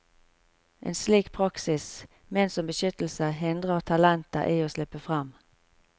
En slik praksis, ment som beskyttelse, hindrer talentene i å slippe frem.